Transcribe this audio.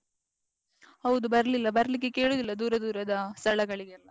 ಹೌದು ಬರ್ಲಿಲ್ಲ, ಬರ್ಲಿಕ್ಕೆ ಕೇಳಿದ್ರಲ್ಲ ದೂರ ದೂರದ ಸ್ಥಳಗಳಿಗೆಲ್ಲ.